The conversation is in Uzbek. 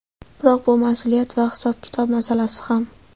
Biroq bu mas’uliyat va hisob-kitob masalasi ham.